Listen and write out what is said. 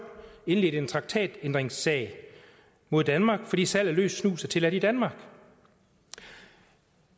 indledte en traktatkrænkelsessag mod danmark fordi salg af løs snus er tilladt i danmark